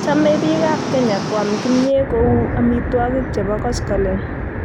Chomei biik ab Kenya koam kimyee ko uu amitwokik che bo koskoleny